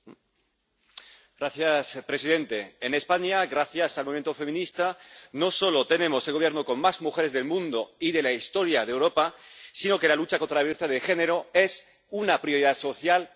Señor presidente, en España, gracias al movimiento feminista, no solo tenemos el Gobierno con más mujeres del mundo y de la historia de Europa, sino que la lucha contra la violencia de género es una prioridad social y política.